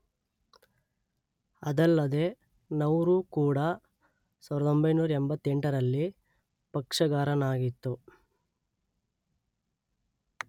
ಅದಲ್ಲದೇ ನೌರು ಕೂಡಾ ಸಾವಿರದ ಒಂಬೈನೂರ ಎಂಬತ್ತೆಂಟರಲ್ಲಿ ಪಕ್ಷಗಾರನಾಗಿತ್ತು.